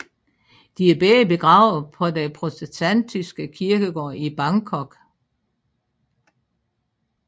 De er begge begravet på den protestantiske kirkegård i Bangkok